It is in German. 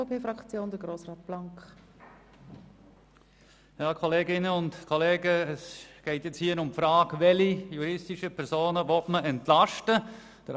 Hier geht es nun darum, welche juristischen Personen man entlasten will.